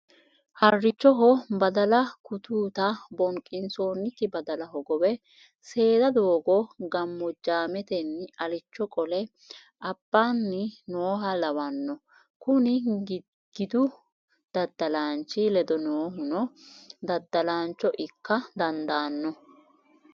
Harichoho badalla kututta bonqisonki badala hogowe seeda doogo gamojametenni alicho qole abbanni nooha lawano kuni gidu daddalanchi ledo noohuno daddalancho ikka dandaano.